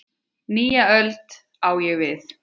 Nýja öld, á ég við.